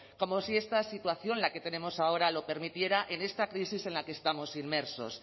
como si esta situación la que tenemos ahora lo permitiera en esta crisis en la que estamos inmersos